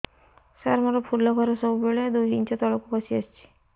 ସାର ମୋର ଫୁଲ ଘର ସବୁ ବେଳେ ଦୁଇ ଇଞ୍ଚ ତଳକୁ ଖସି ଆସିଛି